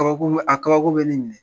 Kabako a kabako bɛ ne minɛ.